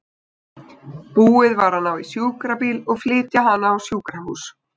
Búið var að ná í sjúkrabíl og flytja hana á sjúkrahús.